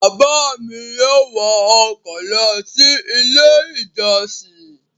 Bàbá mi yóò wọ ọkọ̀ lọ sí Ilé-ìjọsìn.